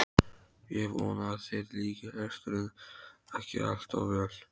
Ég vona að þér líki lesturinn ekki allt of vel.